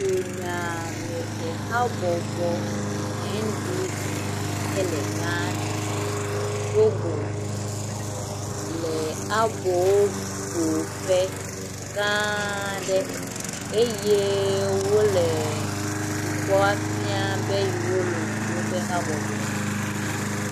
Dunyamehehame habɔbɔ si ke le Ghana do go le aboƒoƒe gã aɖe eye wo le dukɔa fia be yewo lɔ̃ yewo ƒe habɔbɔ la.